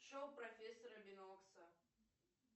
шоу профессора бинокса